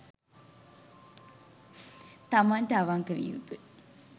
තමන්ට අවංක විය යුතු යි.